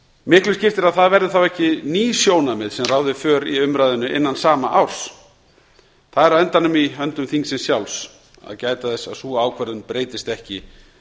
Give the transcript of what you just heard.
miklu skiptir að það verði þá ekki ný sjónarmið sem ráði för í umræðunni innan sama árs það er á endanum í höndum þingsins sjálfs að gæta þess að sú ákvörðun breytist ekki